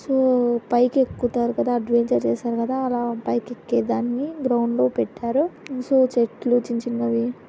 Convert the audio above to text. So పైకి ఎక్కుతారు కదా అడ్వెంచర్ చేశారు కదా అలా పైకి ఎక్కేదాని గ్రౌండ్ లో పెట్టారు సో చెట్లు చిన్న చిన్నవి.